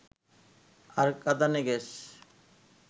আর কাঁদানে গ্যাস